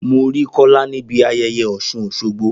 Mo rí Kola níbi ayẹyẹ Osun-Osogbo.